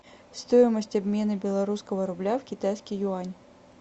стоимость обмена белорусского рубля в китайский юань